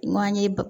Manje